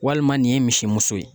Walima nin ye misimuso ye